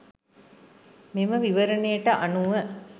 මෙම විවරණයට අනුව